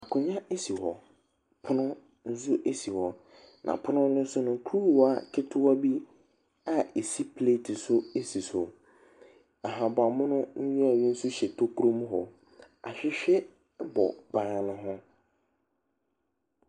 Akonnwa si hɔ. Pono nso si hɔ, na pono no so no, kuruwa ketewa bi a ɛsi plate so si so. Ahaban mono nhwiren bi nso hyɛ tokuro mu hɔ. Ahwehwɛ bɔ ban no ho.